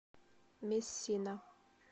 мессина